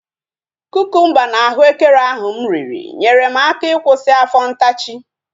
Kukumba na ahụekere ahu mụ riri nyere m aka ịkwụsị afọ ntachi